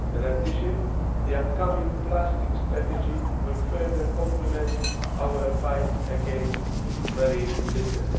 In addition, the upcoming plastic strategy will further complement our fight against marine litter.